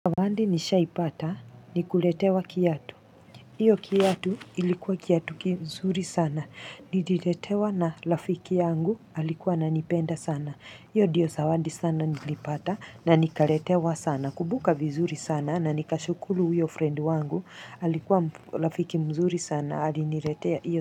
Zawadi nishaipata ni kuletewa kiatu. Hiyo kiatu ilikuwa kiatu kizuri sana. Nililetewa na rafiki yangu alikuwa ananipenda sana. Hiyo ndiyo zawadi sana nilipata na nikaletewa sana. Nakumbuka vizuri sana na nikashukuru huyo friend wangu. Alikuwa rafiki mzuri sana aliniletea hiyo.